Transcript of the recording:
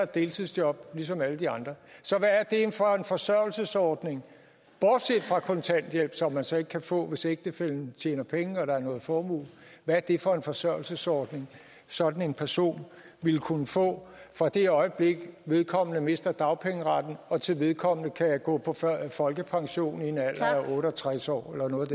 deltidsjob ligesom alle de andre så hvad er det for en forsørgelsesordning bortset fra kontanthjælp som man så ikke kan få hvis ægtefællen tjener penge og der er noget formue hvad er det for en forsørgelsesordning sådan en person ville kunne få fra det øjeblik vedkommende mister dagpengeretten og til vedkommende kan gå på folkepension i en alder af otte og tres år eller noget